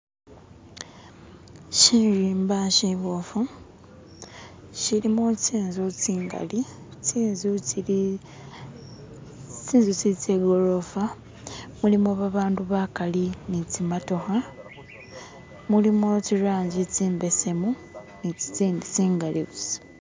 Shirimba shiboofu shilimo tsinzu tsingali tsinzu tsili tsinzu tslili tsegorofa mulimo babandu bakali nitsimotokha mulimo tsirangi tsimbesemu ni tsitsindi tsinali busa